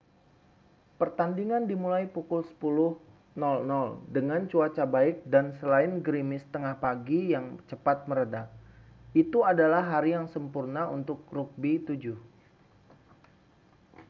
pertandingan dimulai pukul 10.00 dengan cuaca baik dan selain gerimis tengah pagi yang cepat mereda itu adalah hari yang sempurna untuk rugby 7